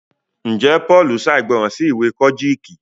njé Paul ṣàìgbọràn sí ìwé Kojiki?